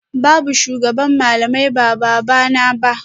Babu shugaban malamai ba babana ba